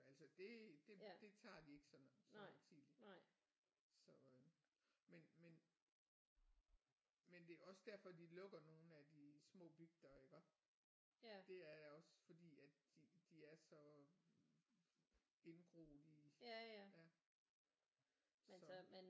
Altså det det det tager de ikke sådan så højtideligt så øh men men men det er også derfor de lukker nogle af de små bygder iggå det er også fordi at de de er så indgroet i ja så